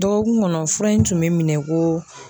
Dɔgɔkun kɔnɔ fura in tun bɛ minɛko